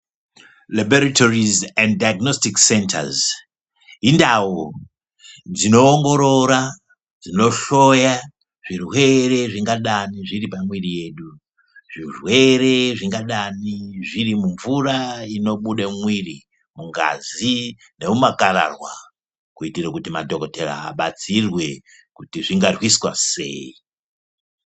Lebhorithorizi endi dhaiginositiki sendazi indau dzinoongorora, dzinohloya zvirwere zvingadani zviri pamwiri yedu. Zvirwere zvingadani zviri mumvura inobuda mumwiri, mungazi nemumakararwa. Kuitira kuti madhokodhera abatsirwe kuti zvingarwiswa sei?